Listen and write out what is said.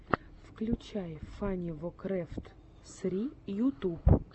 включай фанивокрэфт сри ютуб